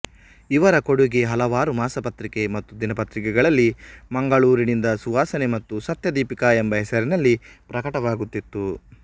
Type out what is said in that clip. ಇವರ ಕೊಡೂಗೆ ಹಲವಾರು ಮಾಸಪತ್ರಿಕೆ ಮತ್ತು ದಿನಪತ್ರಿಕೆಗಳಲ್ಲಿ ಮಂಗಳೂರಿನಿಂದ ಸುವಾಸನೆ ಮತ್ತು ಸತ್ಯದೀಪಿಕ ಎಂಬ ಹೆಸರಿನಲ್ಲಿ ಪ್ರಕಟವಾಗುತ್ತಿತ್ತು